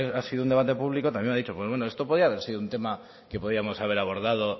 ha sido un debate público también me ha dicho pues bueno esto podía haber sido un tema que podíamos haber abordado